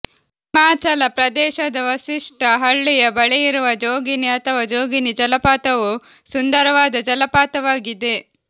ಹಿಮಾಚಲ ಪ್ರದೇಶದ ವಸಿಷ್ಠ ಹಳ್ಳಿಯ ಬಳಿಯಿರುವ ಜೋಗಿನಿ ಅಥವಾ ಜೋಗನಿ ಜಲಪಾತವು ಸುಂದರವಾದ ಜಲಪಾತವಾಗಿದೆ